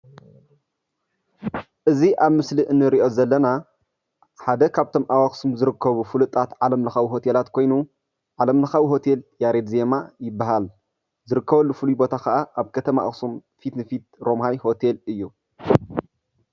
እዚ ኣብ ምስሊ እንሪኦ ዘለና ሓደ ካብቶም ኣብ ኣክሱም ዝርከቡ ፍሉጣት ዓለም ለካዊ ሆቴላት ኮይኑ ዓለም ለካዊ ሆቴል ያሬድ ዜማ ይባሃል፡፡ ዝርከበሉ ፉሉይ ቦታ ከኣ ኣብ ከተማ ኣክሱም ፊት ንፊት ሮምሃ ሆቴል እዩ፡፡